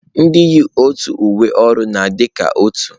Ndị yi otu uwe ọrụ na-adị ka otu